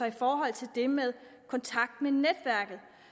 i forhold til det med kontakt med ind